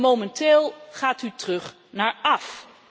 En momenteel gaat u terug naar af.